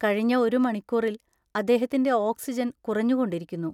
കഴിഞ്ഞ ഒരു മണിക്കൂറിൽ അദ്ദേഹത്തിന്‍റെ ഓക്സിജൻ കുറഞ്ഞുകൊണ്ടിരിക്കുന്നു.